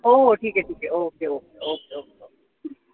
हो हो ठीके ठीके ठीके okay okay okay okay